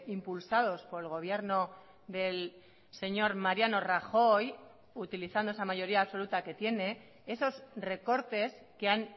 impulsados por el gobierno del señor mariano rajoy utilizando esa mayoría absoluta que tiene esos recortes que han